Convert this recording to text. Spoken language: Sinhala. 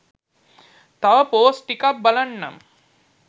තව පෝස්ට් ටිකක් බලන්නම්